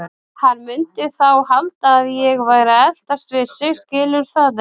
Hann mundi þá halda að ég væri að eltast við sig, skilurðu það ekki?